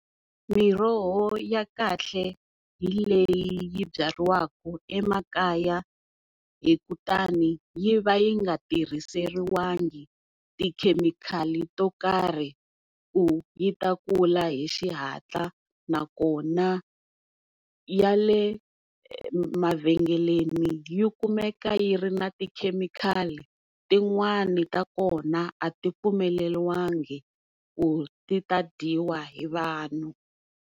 Miroho ya kahle hi leyi yi byariwaka emakaya hi kutani yi va yi nga tirhiseriwangi tikhemikhali to karhi ku yi ta kula hi xihatla, nakona ya le mavhengeleni yi kumeka yi ri na tikhemikhalini tin'wani ta kona a ti pfumeleliwangi ku ti ta dyiwa hi vanhu.